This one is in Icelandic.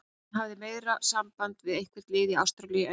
Hann hafði meira samband við eitthvert lið í Ástralíu en mig.